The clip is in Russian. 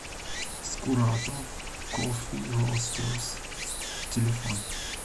скуратов коффи ростерс телефон